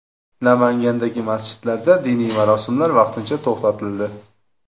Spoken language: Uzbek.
Namangandagi masjidlarda diniy marosimlar vaqtincha to‘xtatildi.